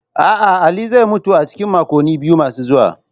A'a, Ali zai mutu a cikin makonni biyu masu zuwa.